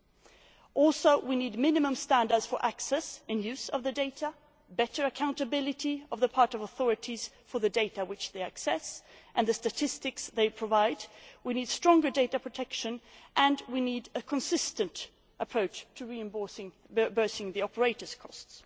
We also need minimum standards for access and use of the data, better accountability on the part of authorities for the data which they access and the statistics they provide, stronger data protection and a consistent approach to reimbursing the operator's costs.